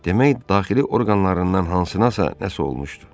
Demək daxili orqanlarından hansınasa nəsə olmuşdu.